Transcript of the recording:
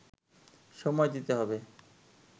সময় দিতে হবে